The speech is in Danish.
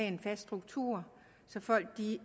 en fast struktur så folk